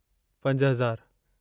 पंज हज़ारु